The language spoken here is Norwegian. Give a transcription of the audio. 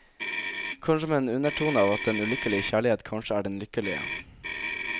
Kanskje med en undertone av at den ulykkelige kjærlighet kanskje er den lykkelige.